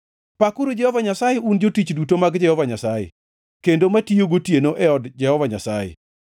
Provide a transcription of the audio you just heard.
Pakuru Jehova Nyasaye, un jotich duto mag Jehova Nyasaye, kendo matiyo gotieno e od Jehova Nyasaye.